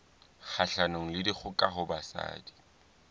kgahlanong le dikgoka ho basadi